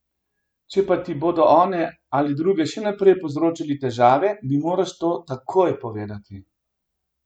Če pa ti bodo one ali drugi še naprej povzročali težave, mi moraš to takoj povedati.